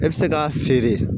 E bɛ se k'a feere